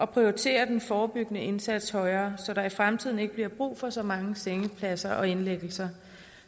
prioritere den forebyggende indsats højere så der i fremtiden ikke bliver brug for så mange sengepladser og indlæggelser